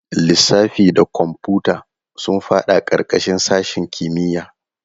Lissafi da kwamfuta sun fada karkashin sashen kimiyya.